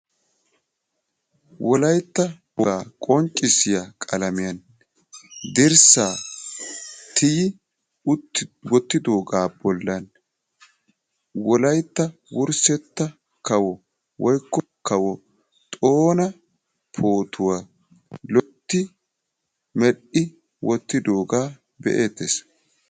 Wolaytta wogaa qonccissiya qalamiyan dirssaa tiyyi utti wottidoogaa bollan wolaytta wurssetta kawo woykko kawo xoona pootuwa loytti medhdhi wottidoogaa be'eettes.